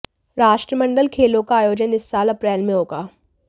राष्ट्रमंडल खेलों का आयोजन इस साल अप्रैल में होगा